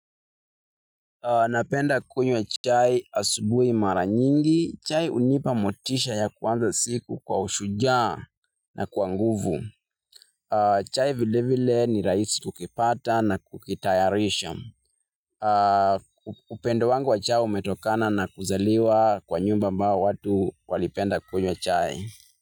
Napenda kunywa chai asubuhi mara nyingi. Chai unipa motisha ya kuanza siku kwa ushujaa na kwa nguvu. Chai vile vile ni rahisi kukipata na kukitayarisha. Upendo wangu wa chai umetokana na kuzaliwa kwa nyumba ambao watu walipenda kunywa chai.